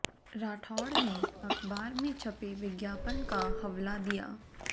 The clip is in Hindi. राठौड़ ने अखबार में छपे विज्ञापन का हवला दिया